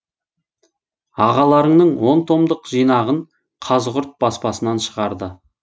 ағаларыңның он томдық жинағын қазығұрт баспасынан шығарды